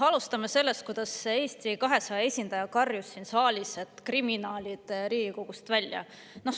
Alustame sellest, kuidas Eesti 200 esindaja karjus siin saalis: "Kriminaalid Riigikogust välja!